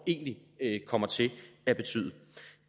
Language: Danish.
egentlig kommer til